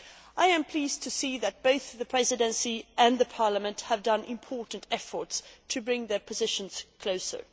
I am pleased to see that both the Presidency and Parliament have made important efforts to bring their positions closer.